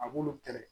A b'olu kɛlɛ